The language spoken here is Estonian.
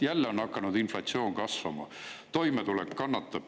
Jälle on hakanud inflatsioon kasvama, kõigi toimetulek kannatab.